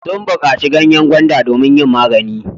Sun baƙaci ganyen gwanda domin yin magani.